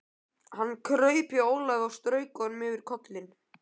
Hann kraup hjá Ólafi og strauk honum yfir kollinn.